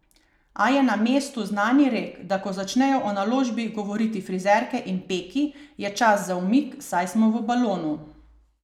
A je na mestu znani rek, da ko začnejo o naložbi govoriti frizerke in peki, je čas za umik, saj smo v balonu.